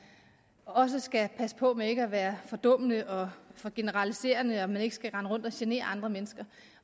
også skal passe på med ikke at være fordummende og for generaliserende og at man ikke skal rende rundt og genere andre mennesker